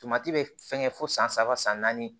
bɛ fɛn kɛ fo san saba san naani